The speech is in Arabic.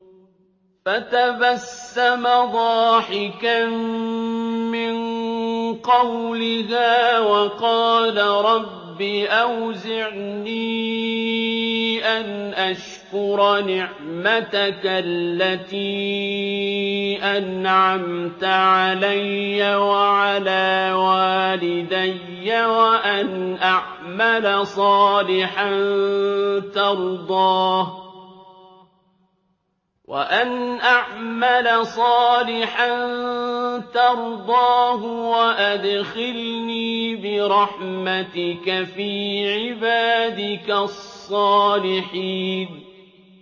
فَتَبَسَّمَ ضَاحِكًا مِّن قَوْلِهَا وَقَالَ رَبِّ أَوْزِعْنِي أَنْ أَشْكُرَ نِعْمَتَكَ الَّتِي أَنْعَمْتَ عَلَيَّ وَعَلَىٰ وَالِدَيَّ وَأَنْ أَعْمَلَ صَالِحًا تَرْضَاهُ وَأَدْخِلْنِي بِرَحْمَتِكَ فِي عِبَادِكَ الصَّالِحِينَ